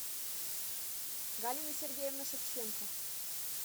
галина сергеевна шевченко